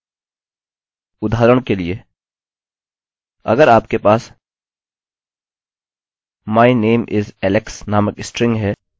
उदाहरण के लिए अगर आपके पास my name is alex नामक स्ट्रिंग है